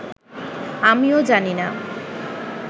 আমিও জানি না